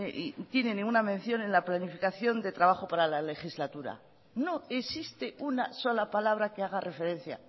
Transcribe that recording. tiene ninguna mención en la planificación de trabajo para la legislatura no existe una sola palabra que haga referencia a